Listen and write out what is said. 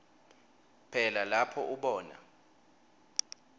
phela lapho ubona